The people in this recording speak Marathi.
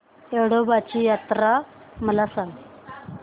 येडोबाची यात्रा मला सांग